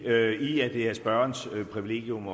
i at det er spørgerens privilegium